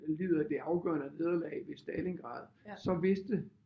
Lider det afgørende nederlag ved Stalingrad så vidste